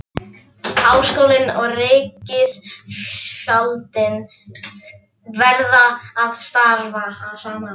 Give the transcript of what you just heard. Háskólinn og ríkisvaldið verða að starfa saman.